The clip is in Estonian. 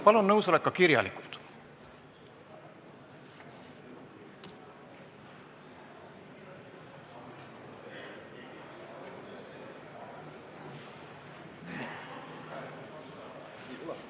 Palun nõusolek esitada ka kirjalikult!